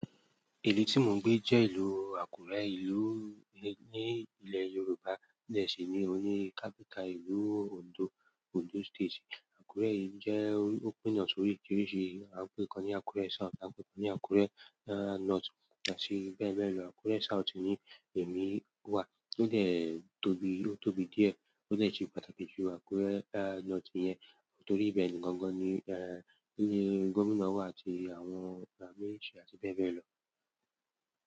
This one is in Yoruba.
Ìlú tí mò ń gbé jẹ́ ìlú Àkúrẹ́ ìlú ní ilẹ̀ Yorùbá ní ẹ̀sì ní oní kápyàtà ìlú Ondo, Ondo state. Àkúrẹ́ yìí jẹ́ ó pínna sórí oríṣiríṣi ì, à ń pè kíkan ní Àkúrẹ́ South à ti pè kíkan ní Àkúrẹ́ North àti bẹ́ẹ̀ bẹ́ẹ̀ lọ. Àkúrẹ́ South ni èmi wà tó dè tóbi, ó tóbi díẹ̀ tó lè ṣe pàtàkì jù Àkúrẹ́ North yẹn torí ibẹ̀ ni gangan ni, ni Gómìnà wà àti àwọn àwọn mínísítà àti bẹ́ẹ̀ bẹ́ẹ̀ lọ.